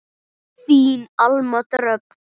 Þín Alma Dröfn.